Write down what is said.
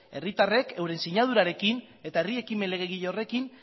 herritarrek euren sinadurarekin eta herri ekimen legegile horrekin